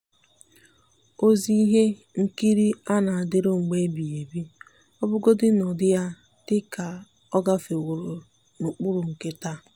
ọ́zị́ ìhè nkiri à nà-adị́rụ́ mgbe èbìghị́ ébí ọ́ bụ́rụ́godị́ nà ụ́dị́ yá dị kà ọ́ gàfèwòrọ n’ụ́kpụ́rụ́ nke taa.